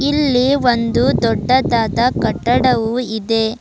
ಇಲ್ಲಿ ಒಂದು ದೊಡ್ಡದಾದ ಕಟ್ಟಡವು ಇದೆ.